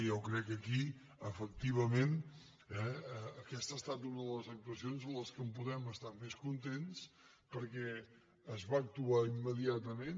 jo crec que aquí efectivament aquesta ha estat una de les actuacions que en poden estar més contents perquè s’hi va actuar immediatament